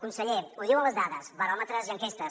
conseller ho diuen les dades baròmetres i enquestes